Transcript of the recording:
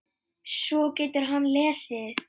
Svo getur hann lesið.